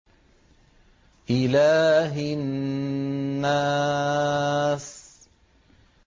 إِلَٰهِ النَّاسِ